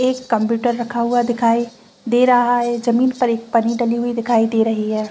एक कंप्यूटर रखा हुआ दिखाई दे रहा है जमीन पर एक पनी डली हुई दिखाई दे रही है।